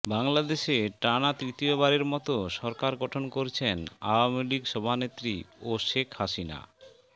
বাংলাদেশে টানা তৃতীয়বারের মতো সরকার গঠন করেছেন আওয়ামী লীগ সভানেত্রী ও শেখ হাসিনা